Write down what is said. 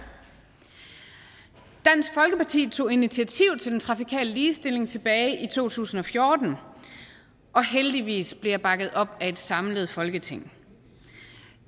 dansk folkeparti tog initiativ til den trafikale ligestilling tilbage i to tusind og fjorten og heldigvis blevet jeg bakket op af et samlet folketing